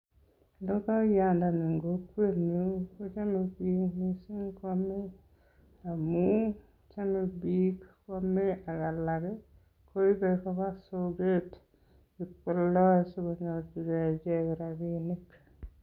Logayandani en kokwenyun kochame biik mising koame amun chome biik koame ak alak koibe koba soket ibkoldoi si konyorchige icheget rabinik.